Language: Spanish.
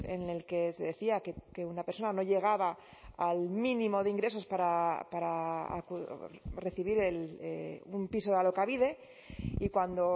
en el que decía que una persona no llegaba al mínimo de ingresos para recibir un piso de alokabide y cuando